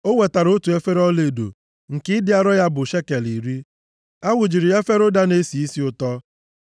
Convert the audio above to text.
O wetara otu efere ọlaedo, nke ịdị arọ ya bụ shekel iri. A wụjuru efere a ụda na-esi isi ụtọ.